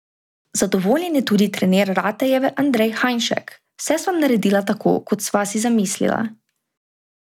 Zadovoljen je tudi trener Ratejeve Andrej Hajnšek: "Vse sva naredila tako, kot sva si zamislila.